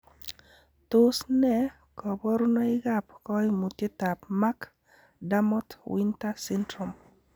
Tos nee koborunoikab koimutietab Mac Dermot Winter syndrome?